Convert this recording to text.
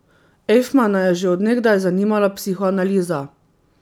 Ejfmana je že od nekdaj zanimala psihoanaliza.